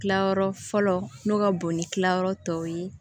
Kilayɔrɔ fɔlɔ n'o ka bon ni kilayɔrɔ tɔw ye